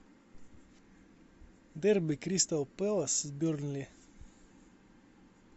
дерби кристал пэлас бернли